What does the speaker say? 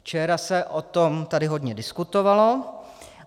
Včera se o tom tady hodně diskutovalo.